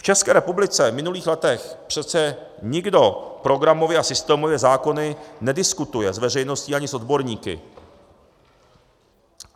V České republice v minulých letech přece nikdo programově a systémově zákony nediskutuje s veřejností ani s odborníky.